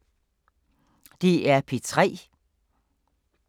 DR P3